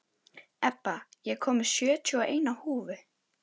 Ebba, ég kom með sjötíu og eina húfur!